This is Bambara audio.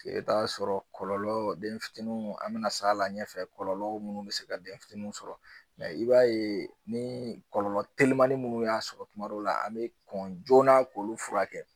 E be t'a sɔrɔ kɔlɔlɔ denfitinunw an be na s'a la ɲɛfɛ kɔlɔlɔ munnu be se ka den fitininw sɔrɔ mɛ i b'a ye ni kɔlɔlɔ telimani munnu y'a sɔrɔ tuma dɔw la an be kɔn joona k'olu furakɛ